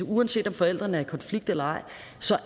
uanset om forældrene er i konflikt eller ej